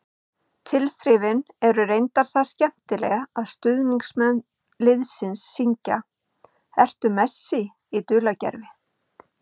Tilþrifin eru reyndar það skemmtileg að stuðningsmenn liðsins syngja: Ertu Messi í dulargervi?